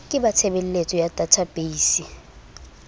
ke ba tshebeletso ya databeise